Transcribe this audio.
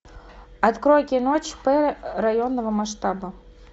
открой кино чп районного масштаба